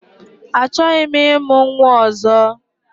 Achọghị m ịmụ nnwa ozo